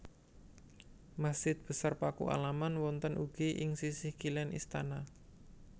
Masjid Besar Pakualaman wonten ugi ing sisih kilén istana